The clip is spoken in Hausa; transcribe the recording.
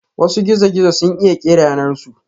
Wasu gizo-gizo sun iya kera yanar su.